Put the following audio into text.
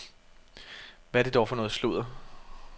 Hvad er det for noget sludder.